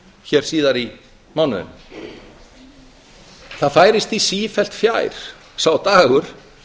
hér síðar í mánuðinum það færist því sífellt fjær sá dagur